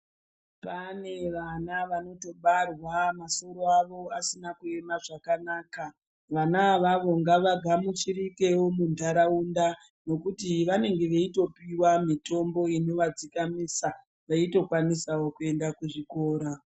Pane vana vanotobarwa masoro avo asina kuema zvakanaka, vana avavo ngavagamuchirikewo mundaraunda ngekuti vanenge veitopiwa mitombo inovadzikamisa veitokwanisawo kuenda kuzvikora.